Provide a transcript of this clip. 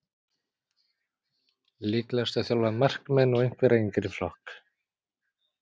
Líklegast að þjálfa markmenn og einhvern yngri flokk.